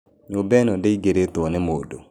Nyũmba ĩno ndĩingĩrĩtwo nĩ mũndũ.